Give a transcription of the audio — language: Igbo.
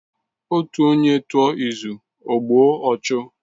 Otu onye tụọ ịzụ, ogbuo ọchụ